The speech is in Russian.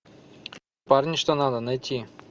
парни что надо найти